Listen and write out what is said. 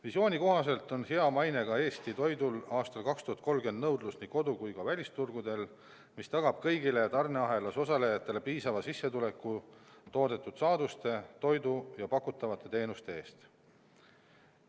Visiooni kohaselt on hea mainega Eesti toidul aastal 2030 nõudlust nii kodu- kui ka välisturgudel, mis tagab kõigile tarneahelas osalejatele piisava sissetuleku toodetud saaduste, toidu ja pakutavate teenuste eest.